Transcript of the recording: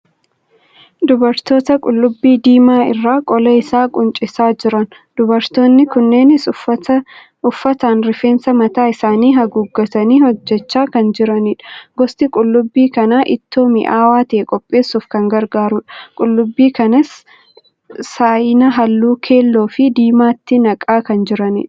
Dubartoota qullubbii diimaa irraa qola isaa quncisaa jiran. Dubartoonni kunneenis uffataan rifeensa mataa isaanii haguuggatanii hojjechaa kan jiranidha. Gosti qullubbii kanaa ittoo mi'aawaa ta'e qopheessuuf kan gargaarudha. Qullubbii kanas saayinaa halluu keelloo fi diimaatti naqaa kan jiranidha.